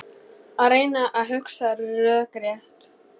Að reyna að hugsa rökrétt